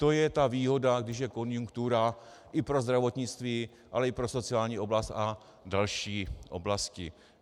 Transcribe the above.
To je ta výhoda, když je konjunktura, i pro zdravotnictví, ale i pro sociální oblast a další oblasti.